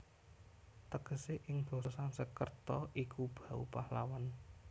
Tegese ing basa Sansekreta iku bau pahlawan